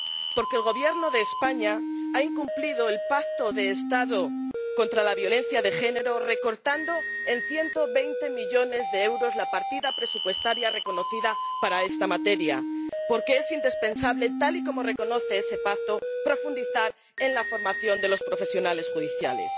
Porque el Gobierno de España ha incumplido el pacto de Estado contra la violencia de género, recortando en 120 millones de euros la partida presupuestaria reconocida para esta materia, y es indispensable, tal y como reconoce ese pacto, profundizar en la formación de los profesionales judiciales.